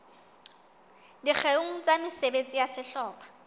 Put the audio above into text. dikgeong tsa mesebetsi ya sehlopha